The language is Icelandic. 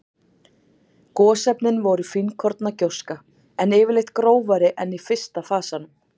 Gosefnin voru fínkorna gjóska, en yfirleitt grófari en í fyrsta fasanum.